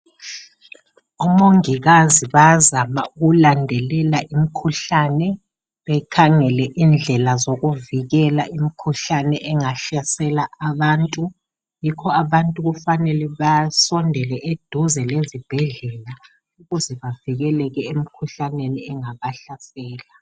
Omongokazi bayazama ukulandelela imikhuhlane bekhangela indlela ezokuvikela imkhuhlane engahlasela abantu. Yikho abantu kufanele basondele eduze lezibhedlela ukuze bavikeleke emikhuhlaneni engabahlasela.